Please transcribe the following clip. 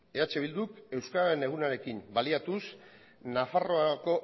eh bilduk euskararen egunarekin baliatuz